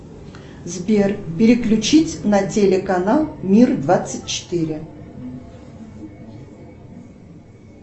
сбер переключить на телеканал мир двадцать четыре